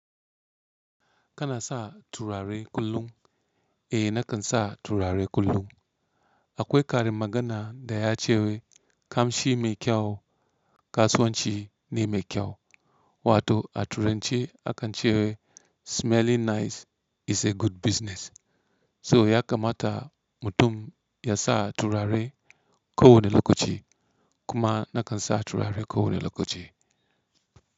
Kana sa turare kullum? Eh nakan sa turare kullum. Akwai ƙarin magana da ya cewa kamshi mai kyau kasuwanci ne mai kyau wato a turance akan cewa smelling nice is a good business. So ya kamata mutum ya sa turare ko wane lokaci kuma nakan sa turare ko wane lokaci.